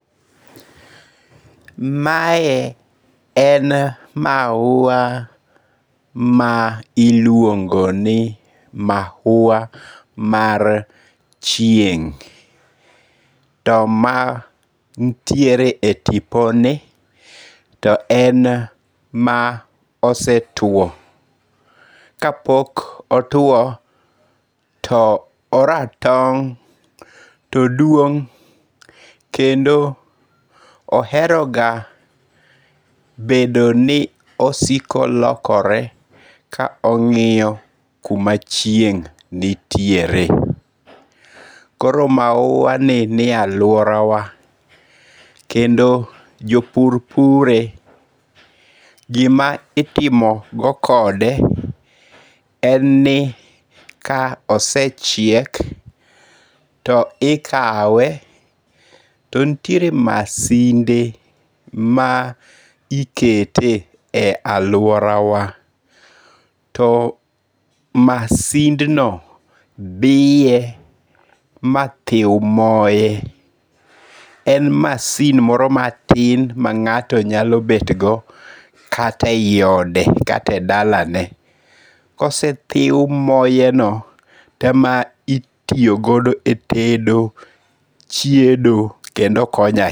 Mae en mau ma iluongo' ni maua mar chieng', to man tiere e tiponi to en ma osetuo to ka pok otwo to oratong' toduong' kendo oheroga bedo ni osiko lokore ka ongi'yo kuma chieng' nitiere, koro maua ni nitiere e aluorawa kendo jo pur pure. Gima itimogo kode en ni ka osechiek to ikawe too nitiere masinde ma ikete e aluorawa, to masindno biye ma thiw moe en masin moro matin ma nga'to nyalo bedgo kata e yi ode kata e dalane kosethiw moeno to ma itiyogodo e tedo chiedo kendo okonyo ahinya.